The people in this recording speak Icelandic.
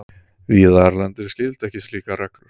Víða erlendis gilda ekki slíkar reglur.